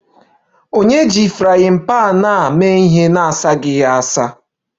Ònye ji frying pan a na-asaghị ya?